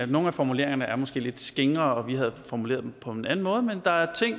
nogle af formuleringerne er måske lidt skingre og vi havde formuleret dem på en anden måde men der er ting